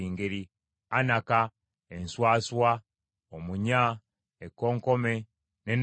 anaka, enswaswa, omunya, ekkonkome, ne nnawolovu.